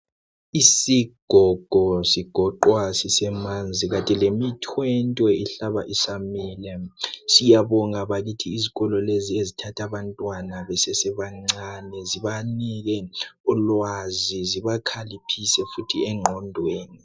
Isigogo sigoqwa sisemanzi kanti lemithwentwe ihlaba isamila. Siyabonga bakithi izikolo lezi ezithatha abantwana besebancane zibanike ulwazi zibakhaliphise futhi engqondweni